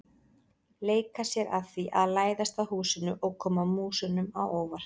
Leika sér að því að læðast að húsinu og koma músunum á óvart.